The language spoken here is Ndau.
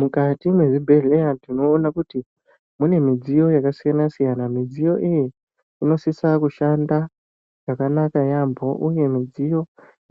Mukati mwezvibhedhleya tinoona kuti ,mune midziyo yakasiyana-siyana. Midziyo iyi inosisa kushanda chakanaka yaampho, uye midziyo